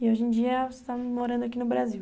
E hoje em dia você está morando aqui no Brasil.